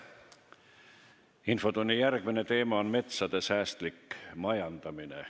Infotunni järgmine teema on metsade säästlik majandamine.